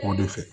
O de fɛ